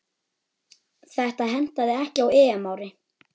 Þetta hentaði ekki á EM-ári.